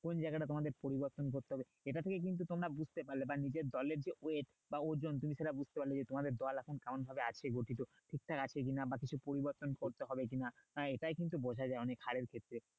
কোন জায়গাটা তোমাদের পরিবর্তন করতে হবে এটা থেকেই কিন্তু তোমরা বুঝতে পারবে বা নিজের দলের যে weight বা ওজন বা সেটা বুঝতে পারলো তোমাদের দল এখন কেমন ভাবে আছে গঠিত, ঠিকঠাক আছে কি না? বা কিছু পরিবর্তন করতে হবে কি না? আহ এটাই কিন্তু বোঝে যাই অনেক হাড়ের ক্ষেত্রে